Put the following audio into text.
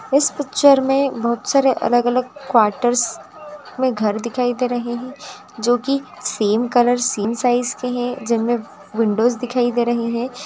इस पिक्चरस में काफी सारे क्वाटर्स में घर दिखाई दे रहे जोकि सैम कलर सैम साइज के है जिनमें विंडोज दिखाई दे रहीं है।